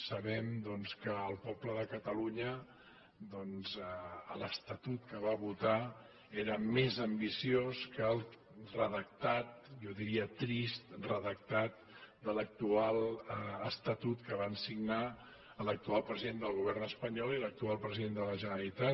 sabem doncs que el poble de catalunya doncs l’estatut que va votar era més ambiciós que el redactat jo diria trist redactat de l’actual estatut que van signar l’actual president del govern espanyol i l’actual president de la generalitat